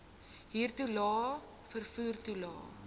huurtoelae vervoer toelae